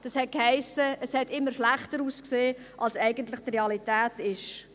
Das heisst, es hat immer schlechter ausgesehen als eigentlich die Realität war.